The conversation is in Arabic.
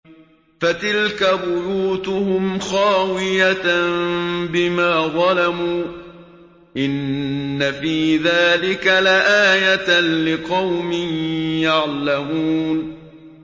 فَتِلْكَ بُيُوتُهُمْ خَاوِيَةً بِمَا ظَلَمُوا ۗ إِنَّ فِي ذَٰلِكَ لَآيَةً لِّقَوْمٍ يَعْلَمُونَ